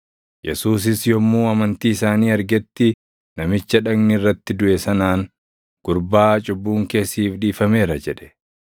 Yesuusis yommuu amantii isaanii argetti namicha dhagni irratti duʼe sanaan, “Gurbaa, cubbuun kee siif dhiifameera” jedhe.